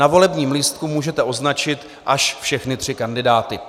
Na volebním lístku můžete označit až všechny tři kandidáty.